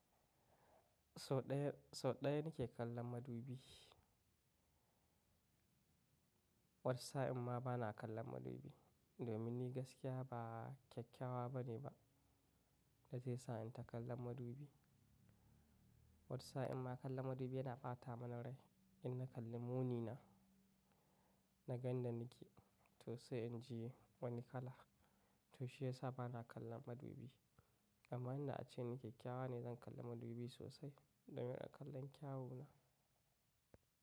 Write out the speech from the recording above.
So ɗaya, so ɗaya na ke kallon madubi. Wata sa din ma bana kallon madubi, domin ni gaskiya ba kyakkyawa bane ba, da zai sa in ta kallon madubi. Wata sa din ma kallon madubi yana ɓata mun rai. In na kalli muni na, na gan da nake to sai in ji wani kala. To shi ya sa bana kallon madubi. Gama ina a cewa ni kyakkyawa ne, zan kalli madubi sosai domin a kallon kyawuna.